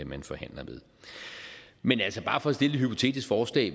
man forhandler med men bare for at stille et hypotetisk forslag